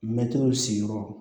Mɛtiri sigiyɔrɔ